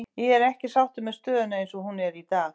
Ég er ekki sáttur með stöðuna eins og hún er í dag.